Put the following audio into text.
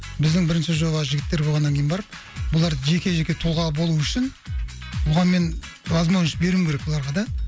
біздің бірінші жоба жігіттер болғаннан кейін барып бұлар жеке жеке тұлға болу үшін бұған мен возможность беруім керек бұларға да